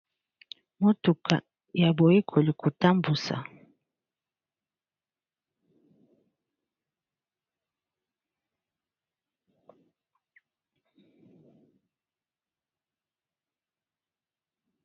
Motuka ya boyekoli kotambusa.